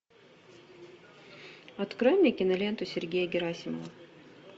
открой мне киноленту сергея герасимова